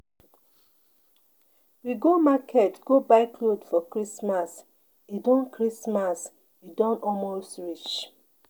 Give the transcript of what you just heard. We go market go buy cloth for Christmas. E don Christmas. E don almost reach.